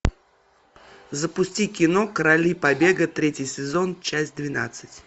запусти кино короли побега третий сезон часть двенадцать